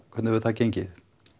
hvernig hefur það gengið